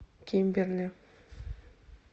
кимберли